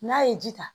N'a ye ji ta